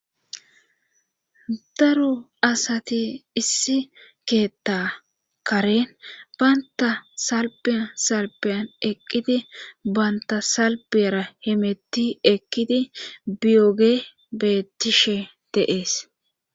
daro asati issi keetta karen baynta salbi salbiyan eqqidi banta salbiyara hemetti ekidi biyoge bettishe de'ees